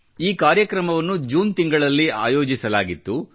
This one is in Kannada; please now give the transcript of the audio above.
ಈ ಕಾರ್ಯಕ್ರಮವನ್ನು ಜೂನ್ ತಿಂಗಳಲ್ಲಿ ಆಯೋಜಿಸಲಾಗಿತ್ತು